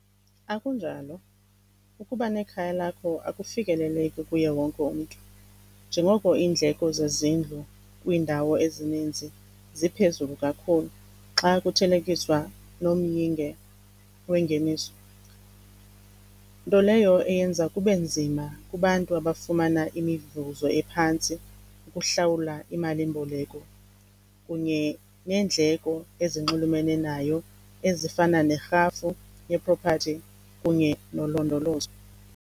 Akunjalo. Ukuba nekhaya lakho akufikeleleki kuye wonke umntu njengoko iindleko zezindlu kwiindawo ezininzi ziphezulu kakhulu xa kuthelekiswa nomyinge wengeniso. Nto leyo eyenza kube nzima kubantu abafumana imivuzo ephantsi ukuhlawula imalimboleko kunye neendleko ezinxulumene nayo ezifana nerhafu yepropathi kunye nolondolozo.